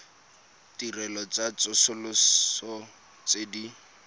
ditirelo tsa tsosoloso tse di